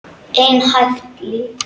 Einhæft líf.